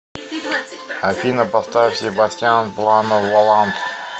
афина поставь себастьян плано волант